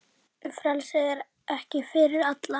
Frelsi er ekki fyrir alla.